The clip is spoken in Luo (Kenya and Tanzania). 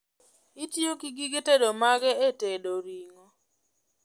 Itiyo gi gige tedo mage e tedo ring'o?